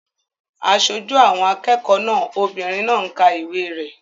Aṣojú àwọn akẹ́kọ̀ọ́ náà obìnrin náà ń ka ìwé rẹ̀